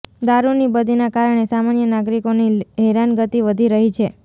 દારૃની બદીના કારણે સામાન્ય નાગરિકોની હેરાનગતિ વધી રહી છે